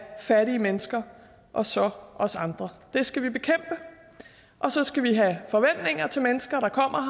fattige mennesker og så os andre det skal vi bekæmpe og så skal vi have forventninger til mennesker der kommer